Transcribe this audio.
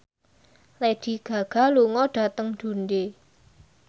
Lady Gaga lunga dhateng Dundee